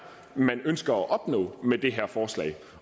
man ønsker at opnå med det her forslag